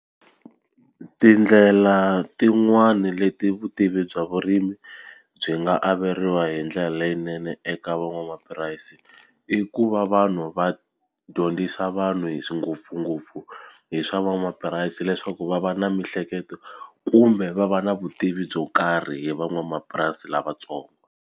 Tindlela tin'wani leti vutivi bya vurimi byi nga averiwa hi ndlela leyinene eka van'wamapurasi i ku va vanhu va dyondzisa vanhu hi ngopfungopfu hi swa van'wamapurasi leswaku va va na mihleketo kumbe va va na vutivi byo karhi hi van'wamapurasi lavatsongo.